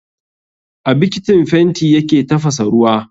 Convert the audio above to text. A bikitin fenti yake tafasa ruwa